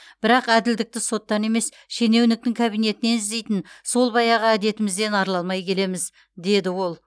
бірақ әділдікті соттан емес шенеуніктің кабинетінен іздейтін сол баяғы әдетімізден арыла алмай келеміз деді ол